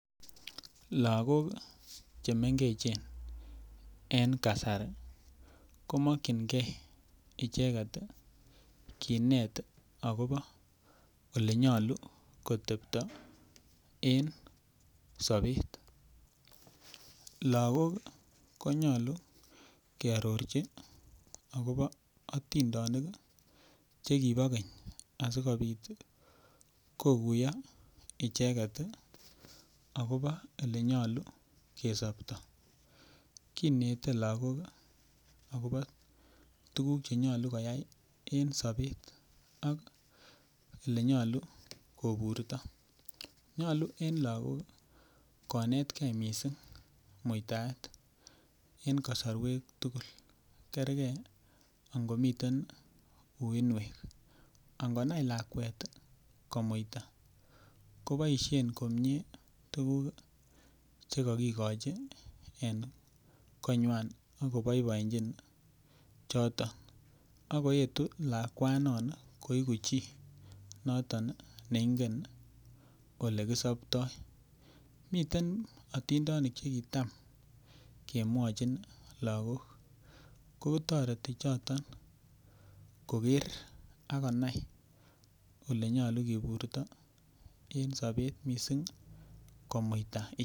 Lagok chemengechen en kasari komokyingee icheket kinet akobo olenyolu koteptoo en sobet lagok konyolu kiarorchi akobo atindenik chekibo keny asikobit kokuiyo icheket akobo olenyolu kesobtoo kinete lagok akobo tuguk chenyolu konai en sobet ak olenyolu koburtoo nyolu en lagok ii konetke missing akobo muitaet en kasorwek tugul kerge ang'omiten uinwek angonai lakwet komuita koboisien komie tuguk chekokikochi en konywan akoboiboenjin choton akoetu lakwanan koiku chii noton neingen olekisoptoo miten otindonik chekitam kemwachin lagok kootoreti choton koker akonai olenyolu kiburto en sobet missing komuita.